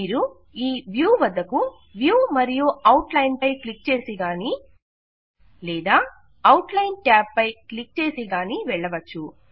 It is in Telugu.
మీరు ఈ వ్యూ వద్దకు వ్యూ మరియు అవుట్ లైన్ పై క్లిక్ చేసి గానీ లేదా అవుట్ లైన్ ట్యాబ్ పై క్లిక్ చేసి గానీ వెళ్ళవచ్చు